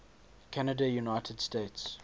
canada united states